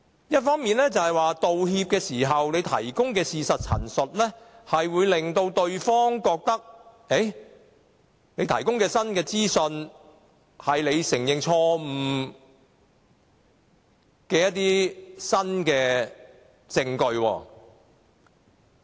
一方面，道歉時所提供的事實陳述，會令對方覺得有了新資訊作為承認錯誤的新證據。